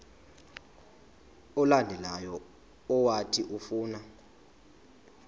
olandelayo owathi ufuna